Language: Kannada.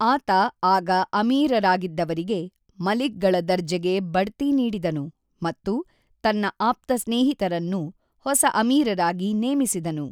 ಆತ ಆಗ ಅಮೀರರಾಗಿದ್ದವರಿಗೆ ಮಲಿಕ್‌ಗಳ ದರ್ಜೆಗೆ ಬಡ್ತಿ ನೀಡಿದನು ಮತ್ತು ತನ್ನ ಆಪ್ತ ಸ್ನೇಹಿತರನ್ನು ಹೊಸ ಅಮೀರರಾಗಿ ನೇಮಿಸಿದನು.